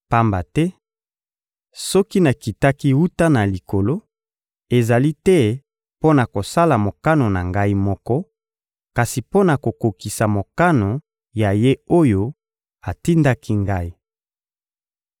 Pamba te soki nakitaki wuta na Likolo, ezali te mpo na kosala mokano na Ngai moko, kasi mpo na kokokisa mokano ya Ye oyo atindaki Ngai.